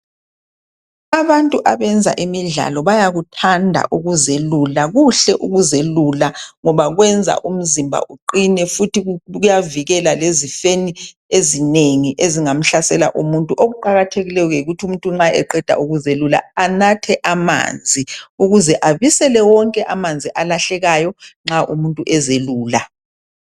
Abantu abenza imidlalo bayakuthanda ukuzelula kuhle ukuzelula ngoba kwenza umzimba aqine futhi kuyavikela ezifeni ezingamhlasela umuntu, okuqakathekilwyo yikuthi umuntu nxa wqeda ukuzelula anathe amanzi ukuze abisele wonke amanzi alahlekayo nxa umuntu ezelula.